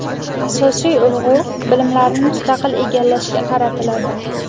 Asosiy urg‘u bilimlarni mustaqil egallashga qaratiladi.